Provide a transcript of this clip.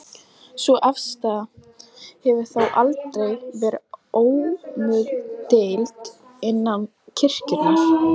Sú afstaða hefur þó aldrei verið óumdeild innan kirkjunnar.